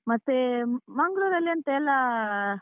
ಮತ್ತೆ, ಮಂಗ್ಳೂರಲ್ಲಿ ಎಂಥ ಎಲ್ಲ.